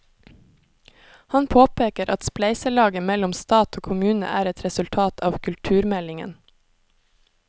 Han påpeker at spleiselaget mellom stat og kommune er et resultat av kulturmeldingen.